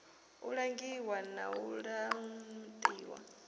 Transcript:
u langiwa na u laṱiwa